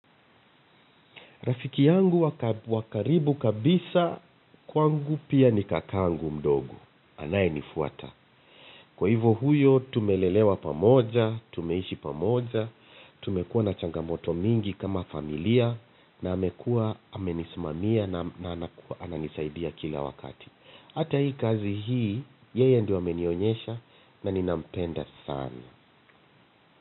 Rafiki yangu wa karibu kabisa kwangu pia ni kakangu mdogo. Anayenifuata. Kwa hivo huyo, tumelelewa pamoja, tumeishi pamoja, tumekuwa na changamoto mingi kama familia, na amekuwa amenisimamia na ananisaidia kila wakati. Hata hii kazi hii, yeye ndio amenionyesha na ninampenda sana.